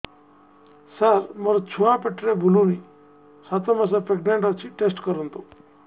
ସାର ମୋର ଛୁଆ ପେଟରେ ବୁଲୁନି ସାତ ମାସ ପ୍ରେଗନାଂଟ ଅଛି ଟେଷ୍ଟ କରନ୍ତୁ